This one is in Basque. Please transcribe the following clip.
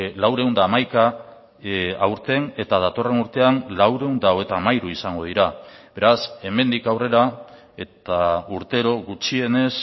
laurehun eta hamaika aurten eta datorren urtean laurehun eta hogeita hamairu izango dira beraz hemendik aurrera eta urtero gutxienez